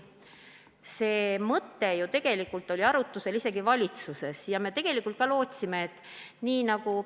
See mõte oli valitsuses arutusel ja me tegelikult lootsime, et see kiidetakse heaks.